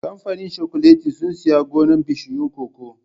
Kamfanin cakuletin sun sayi gonar bishiyun cocoa